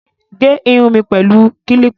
Gẹ irun mi pẹ̀lú kílípà